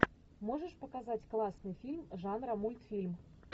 можешь показать классный фильм жанра мультфильм